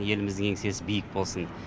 еліміздің еңсесі биік болсын